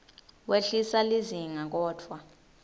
wehlisa lizinga kodvwa